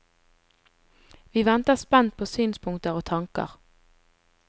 Vi venter spent på synspunkter og tanker.